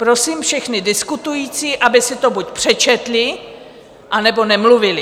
Prosím všechny diskutující, aby si to buď přečetli, anebo nemluvili.